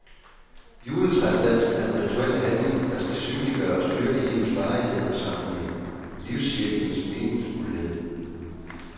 Juletræsdansen er en rituel handling, der skal synliggøre og styrke livets varighed og sammenhæng, livscirklens meningsfuldhed.